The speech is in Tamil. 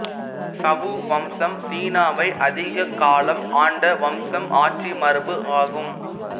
சவு வம்சம் சீனாவை அதிக காலம் ஆண்ட வம்சம் ஆட்சி மரபு ஆகும்